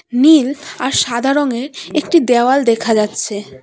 নীল আর সাদা রংয়ের একটি দেওয়াল দেখা যাচ্ছে।